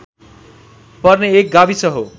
पर्ने एक गाविस हो